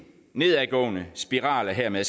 nedadgående spiral der hermed